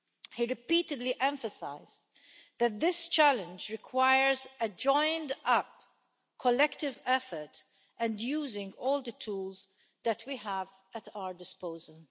He repeatedly emphasised that this challenge requires a joined up collective effort and using all the tools that we have at our disposal.